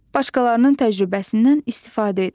Başqalarının təcrübəsindən istifadə edir.